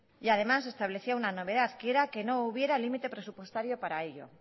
y además establecía una novedad que era que no hubiera límite presupuestario para ello